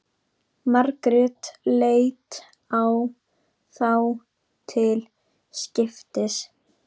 Margrét leit á þá til skiptis.